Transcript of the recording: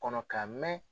Kɔnɔ ka mɛn